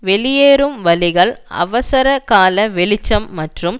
வெளியேறும் வழிகள் அவசர கால வெளிச்சம் மற்றும்